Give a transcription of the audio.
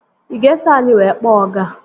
Ị ga-eso anyị wee kpọọ ọga?